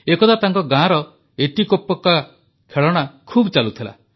ଏକଦା ତାଙ୍କ ଗାଁର ଏତିକୋପକ୍କା ଖେଳଣା ଖୁବ ଚାଲୁଥିଲା